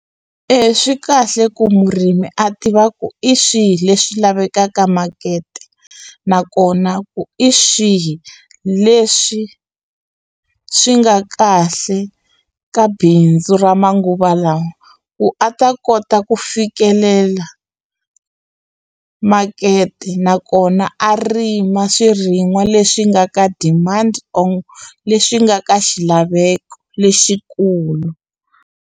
E swi kahle ku murimi a tiva ku i swihi leswi lavekaka makete nakona ku i swihi leswi swi nga kahle ka bindzu ra manguva lawa ku a ta kota ku fikelela makete nakona a rima swirin'wa leswi nga ka demand or leswi nga ka xilaveko lexikulu.